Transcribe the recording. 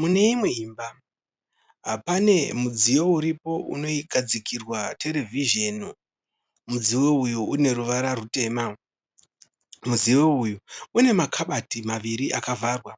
Mune imwe imba pane mudziyo uripo unogadzikirwa terevhizheni. Mudziyo uyu une ruvara rutema. Mudziyo uyu une makabati maviri akavharwa.